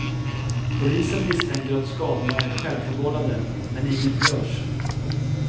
Polisen misstänker att skadorna är självförvållade, men inget görs.